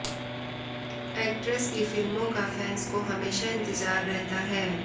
actress की फिल्मों का फैंस को हमेशा इंतजार रहता है